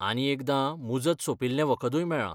आनी एकदां मुजत सोंपिल्ले वखदूय मेळ्ळां.